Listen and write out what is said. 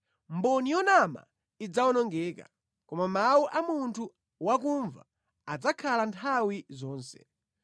Mboni yonama idzawonongeka, koma mawu a munthu wakumva adzakhala nthawi zonse.